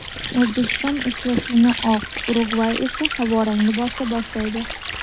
O‘zbekiston uchrashuvni oq, Urugvay esa havorang libosda boshlaydi.